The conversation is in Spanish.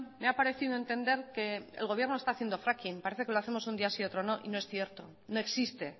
me ha parecido entender que el gobierno está haciendo fracking parece que lo hacemos un día sí y otro no y no es cierto no existe